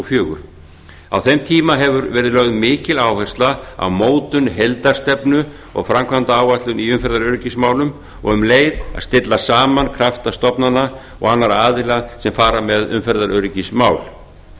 fjögur á þeim tíma hefur verið lögð mikil áhersla á mótun heildarstefnu og framkvæmdaáætlun í umferðaröryggismálum og um leið að stilla saman krafta stofnana og annarra aðila sem fara með umferðaröryggismál